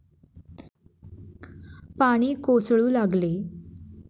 पाणी कोसळू लागले.